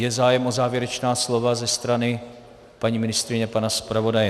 Je zájem o závěrečná slova ze strany paní ministryně a pana zpravodaje?